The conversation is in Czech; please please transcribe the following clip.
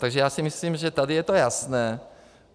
Takže já si myslím, že tady je to jasné.